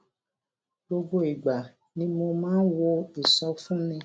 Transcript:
gbogbo ìgbà ni mo máa ń wo ìsọfúnni